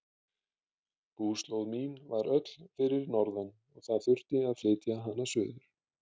Búslóð mín var öll fyrir norðan og það þurfti að flytja hana suður.